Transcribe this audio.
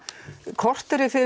korteri